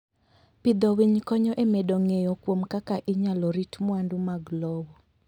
Pidho winy konyo e medo ng'eyo kuom kaka inyalo rit mwandu mag lowo.